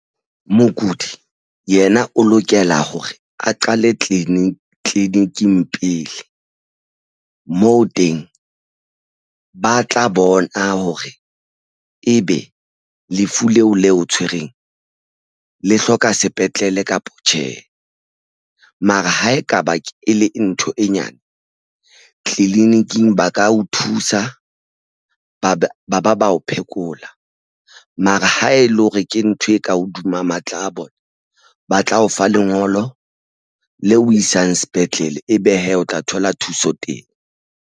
Mokudi yena o lokela hore a qale tleliniking pele moo teng ba tla bona hore ebe lefu leo le o tshwereng le hloka sepetlele kapa tjhe. Mara ha ekaba e le ntho e nyane tliniking ba ka o thusa ba ba o phekola mara ha e le hore ke ntho e ka hodima matla a bona. Ba tla o fa lengolo le o isang sepetlele. Ebe hee o tla thola thuso teng.